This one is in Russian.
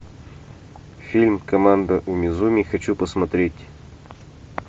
фильм команда уми зуми хочу посмотреть